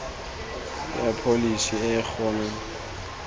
ya pholesi e e gona